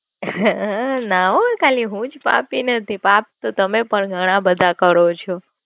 હ હ હ હ ના હો ખાલી હું પાપી નથી, પાપ તો તમે ઘણા બધા કરો છો.